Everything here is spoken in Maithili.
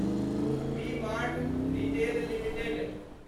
V mart retail limited